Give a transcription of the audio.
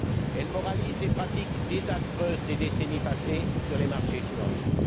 Elle moralise les pratiques désastreuses des décennies passées sur les marchés financiers.